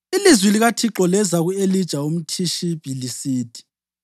Ilizwi likaThixo leza ku-Elija umThishibi lisithi: